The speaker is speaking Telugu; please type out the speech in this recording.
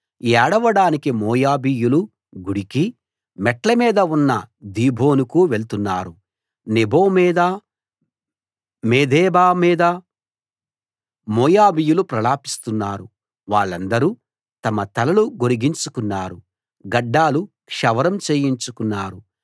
ఏడవడానికి మోయాబీయులు గుడికీ మెట్ట మీద ఉన్న దీబోనుకూ వెళ్తున్నారు నెబో మీద మేదెబా మీద మోయాబీయులు ప్రలాపిస్తున్నారు వాళ్ళందరూ తమ తలలు గొరిగించుకున్నారు గడ్డాలు క్షవరం చేయించుకున్నారు